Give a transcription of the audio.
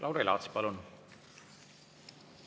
Lauri Laats, palun!